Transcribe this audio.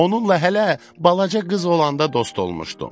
Onunla hələ balaca qız olanda dost olmuşdum.